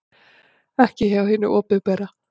Ekki hjá hinu opinbera.